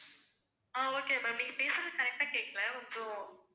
ஆஹ் okay ma'am நீங்க பேசுறது correct ஆ கேக்கல கொஞ்சம்